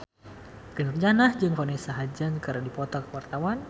Ikke Nurjanah jeung Vanessa Hudgens keur dipoto ku wartawan